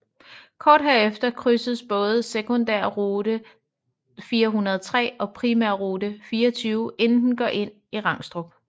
Kort herefter krydses både sekundærrute 403 og primærrute 24 inden den går ind i Rangstrup